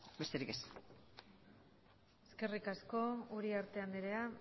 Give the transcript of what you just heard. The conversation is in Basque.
besterik ez eskerrik asko uriarte andrea